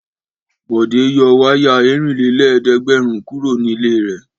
Bọ̀dé yọ wáyà ẹ̀rìnlélẹ́ẹ̀dẹ́gbẹ̀rún kúrò nílé rẹ̀?